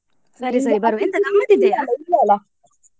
ಸರಿ ಸರಿ ?